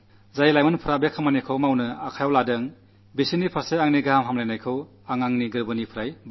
ഇതിൽ ഉൾപ്പെട്ടിരിക്കുന്ന യുവാക്കൾക്ക് ഞാൻ ഹൃദയപൂർവ്വം ആശംസകൾ നേരുന്നു